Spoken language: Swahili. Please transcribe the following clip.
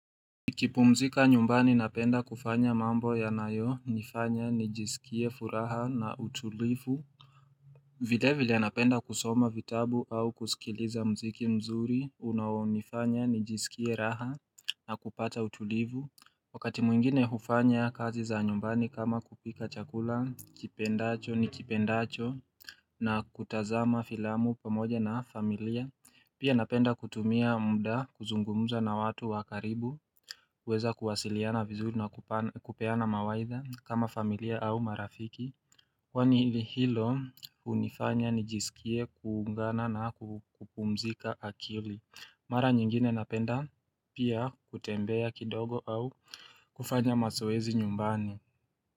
Nikipumzika nyumbani napenda kufanya mambo yanayonifanya nijisikie furaha na utulivu. Vilevile, napenda kusoma vitabu au kusikiliza muziki mzuri unaonifanya nijisikie raha na kupata utulivu, Wakati mwingine hufanya kazi za nyumbani kama kupika chakula, kipendacho, nikipendacho na kutazama filamu pamoja na familia. Pia napenda kutumia muda kuzungumuza na watu wa karibu huweza kuwasiliana vizuri na kupeana mawaidha kama familia au marafiki kwani hilo hunifanya nijisikie kuungana na kupumzika akili. Mara nyingine napenda pia kutembea kidogo au kufanya mazoezi nyumbani.